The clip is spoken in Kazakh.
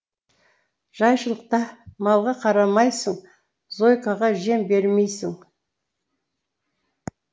жайшылықта малға қарамайсың зойкаға жем бермейсің